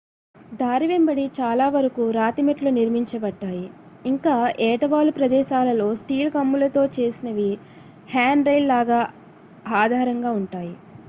దారి వెంబడి చాలా వరకు రాతి మెట్లు నిర్మించబడ్డాయి ఇంకా ఏటవాలు ప్రదేశాలలో స్టీల్ కమ్ములతో చేసినవి హ్యాండ్రైల్ లాగా ఆధారంగా ఉంటాయి